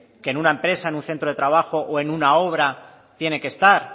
que en una empresa en un centro de trabajo o en una obra tiene que estar